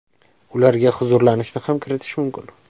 Ularga huzurlanishni ham kiritish mumkin.